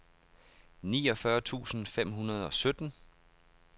niogfyrre tusind fem hundrede og sytten